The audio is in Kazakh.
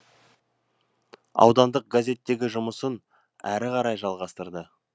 аудандық газеттегі жұмысын әрі қарай жалғастырды